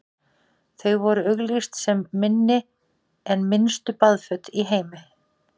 þau voru auglýst sem „minni en minnstu baðföt í heimi“